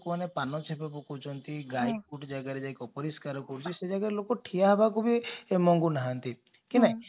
ପାନ ଛେପ ପକଉଛନ୍ତି ଗାଈ ଗୋଟେ ଜାଗାରେ ଯାଇ ଅପରିଷ୍କାର କରୁଛି ସେ ଜାଗାରେ ଲୋକ ଠିଆ ହେବାକୁ ବି ମନ କରୁନାହାନ୍ତି